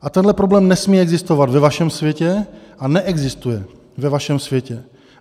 A tenhle problém nesmí existovat ve vašem světě a neexistuje ve vašem světě.